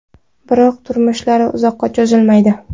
Biroq turmushlari uzoqqa cho‘zilmaydi.